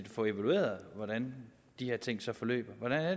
få evalueret hvordan de her ting så forløber hvordan er